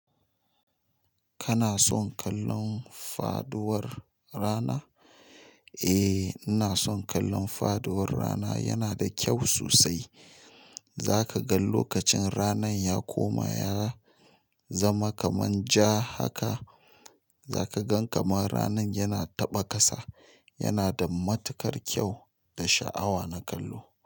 Kana son kallon faduwar rana? Eh, ina son kallon faduwar rana yana da kyau sosai. Zaka ga lokacin rana ya koma ya zama kaman ja haka, zaka gan kamar rana yana taɓa ƙasa. Yana da matukar kyau da sha'awa na kallo.